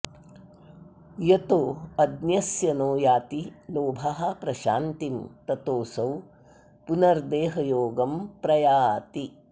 यतोऽज्ञस्य नो याति लोभः प्रशान्तिं ततोऽसौ पुनर्देहयोगं प्रयाति